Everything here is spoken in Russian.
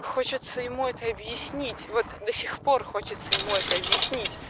хочется ему это объяснить вот до сих пор хочется ему это объяснить